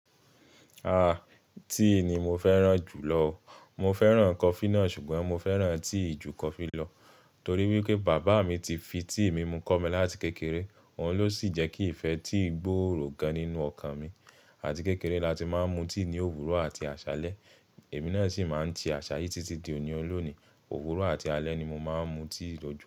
Aah! Tea ni mo fẹ́ràn jù lọ. Mo fẹ́ràn coffee náà ṣùgbọ́n mo fẹ́ràn tea ju coffee lọ torí wípé bàbá mi ti fi tea mi mu kọ́ mi láti kékeré. Òun ló sì jẹ́ kí ìfẹ́ tí gbòòrò gan nínú ọkàn mi. Àti kékeré láti máa ń mu tea ní òwúrọ̀ àti àṣálẹ́. Èmi náà sì máa ń ti àṣà yì títí di òní ọlọ́ni. Òwúrọ̀ àti alẹ́ ni mo máa ń mu tea lọ́jọ́.